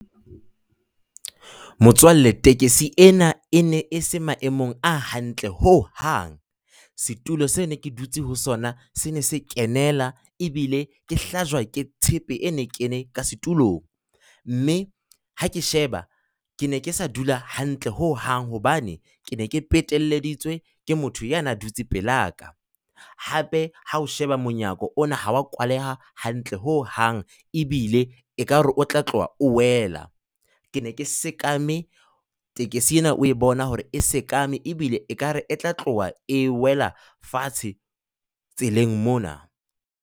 Motswalle, tekesi ena e ne e se maemong a hantle ho hang. Setulo seo ke ne ke dutse ho sona se na se kenela ebile ke hlajwa ke tshepe e ne kene ka setulong, mme ha ke sheba ke ne ke sa dula hantle ho hang. Hobane ke ne ke peteleditswe ke motho ya na dutse pelaka. Hape ha o sheba monyako ona ha oa kwaleha hantle ho hang, ebile ekare o tla tloha o wela, ke ne ke sekame, tekesi ena o bona hore e sekame ebile ekare e tla tloha e wela fatshe tseleng mona.